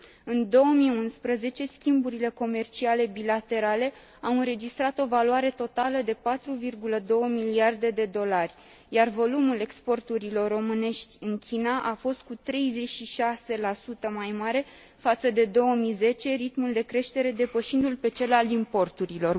În 2011, schimburile comerciale bilaterale au înregistrat o valoare totală de 4,2 miliarde de dolari, iar volumul exporturilor românești în China a fost cu 36 mai mare față de 2010, ritmul de creștere depășindu l pe cel al importurilor.